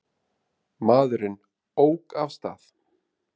Maðurinn ók af stað.